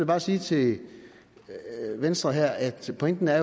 bare sige til venstre her at pointen er